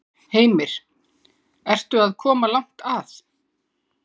Heimir: Ertu að koma langt að?